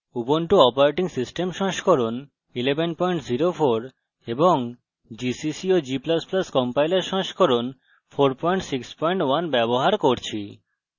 ubuntu operating system সংস্করণ 1104 এবং gcc এবং g ++ compiler সংস্করণ 461 ব্যবহার করছি